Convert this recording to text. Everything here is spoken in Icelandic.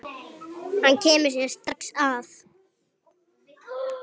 Hann kemur þér strax að.